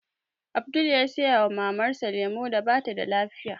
Abdul ya saya wa Mamar sa lemu da batada lafiya